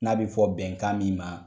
N'a bi fɔ bɛnkan min ma